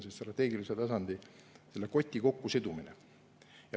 See on strateegilise tasandi, selle koti kokkusidumine.